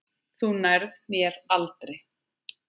Þú nærð mér aldrei.